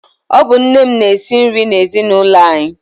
Ọ bụ nne m na-esi nri n'ezinaụlọ anyị.